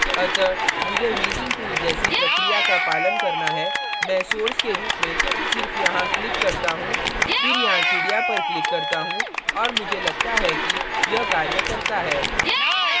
अतः मुझे healing tool जैसी प्रक्रिया का पालन करना है मैं source के रूप में सिर्फ यहाँ click करता हूँ फिर यहाँ चिड़िया पर click करता हूँ और मुझे लगता है कि यह कार्य करता है